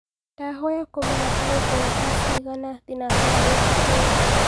ndahoya kũmenya gũgũkorwo thaa cĩĩgana thĩnacara gũkũ kenya